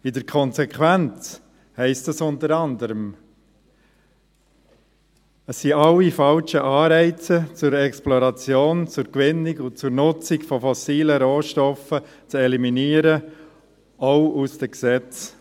In der Konsequenz heisst das unter anderem: Es sind alle falschen Anreize zur Exploration, Gewinnung und Nutzung von fossilen Rohstoffen zu eliminieren, auch aus den Gesetzen.